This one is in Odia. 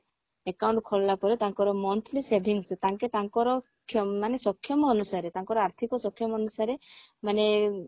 account ଖୋଲିଲା ପରେ ତାଙ୍କର monthly savings ତାଙ୍କେ ତାଙ୍କର କ୍ଷ ମାନେ ସକ୍ଷମ ତାଙ୍କର ଆର୍ଥିକ ସକ୍ଷମ ଅନୁସାରେ ମାନେ